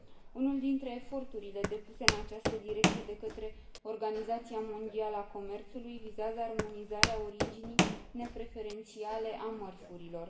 Unul dintre eforturile depuse în această direcție de către Organizația Mondială a Comerțului vizează armonizarea originii nepreferențiale a mărfurilor.